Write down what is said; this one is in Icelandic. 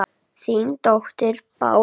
Þín dóttir Bára.